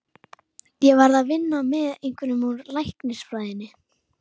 Ég verð að vinna með einhverjum úr læknisfræðinni.